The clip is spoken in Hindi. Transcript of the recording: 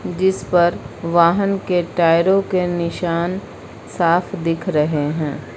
जिस पर वाहन के टायरों के निशान साफ दिख रहे हैं।